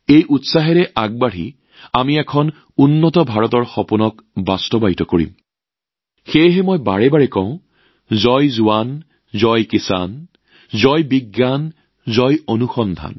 এই উদ্যমেৰে আগবাঢ়ি গৈ আমি উন্নত ভাৰতৰ দৃষ্টিভংগী লাভ কৰিম আৰু সেইবাবেই মই বাৰে বাৰে কওঁ জয় জোৱানজয় কিষাণ জয় জ্ঞানজয় অনুসন্ধান